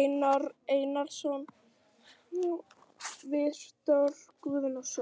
Einar Orri Einarsson, Viktor Guðnason.